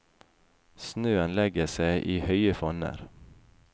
Snøen legger seg i høye fonner.